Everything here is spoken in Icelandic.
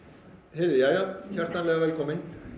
heyrðu jæja hjartanlega velkomin